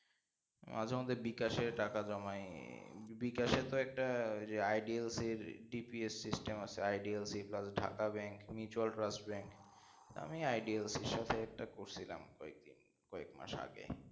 মাঝে মাঝে বিকাশে টাকা জমায় বিকাশে তো একটা ওই টি idiyal এর DPS system আছে। idiyeldhakabank mutual trust bank আমি idiyal এর সাথে একটা করছিলাম এই কয়েক মাস আগে